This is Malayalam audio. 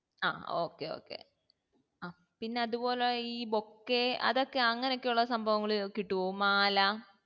ആ okay okay ആഹ് പിന്നെ അതുപോലെ ഈ bouquet അതൊക്കെ അങ്ങനെഒക്കെ ഉള്ള സംഭവങ്ങൾ ഇവ്ടെ കിട്ട്വോ മാല